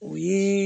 O ye